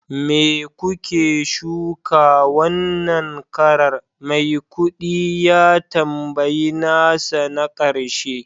me kuke shuka wannan kakar? maikudi ya tambayi nasa na karshe